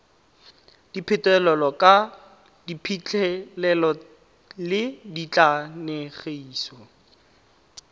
dipegelo ka diphitlhelelo le dikatlanegiso